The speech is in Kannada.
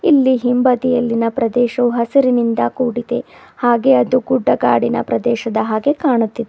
ಇಲ್ಲಿ ಹಿಂಭದಿಯಲ್ಲಿನ ಪ್ರದೇಶವು ಹಸಿರಿನಿಂದ ಕೂಡಿದೆ ಹಾಗೆ ಅದು ಗುಡ್ಡಗಾಡಿನ ಪ್ರದೇಶದ ಹಾಗೆ ಕಾಣುತ್ತಿದೆ.